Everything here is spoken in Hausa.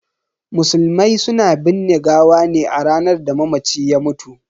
Musulmai suna binne gawa ne a ranar da mamaci ya mutu.